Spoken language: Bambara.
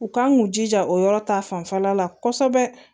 U kan k'u jija o yɔrɔ ta fanfɛla la kɔsɛbɛ